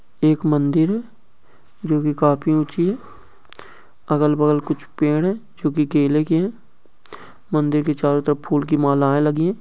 एक मंदिर जो की काफी ऊंची है | अगल - बगल कुछ पेड़ है जो की केले के है मंदिर की चारों तरफ फूल की मालाएं लगी है।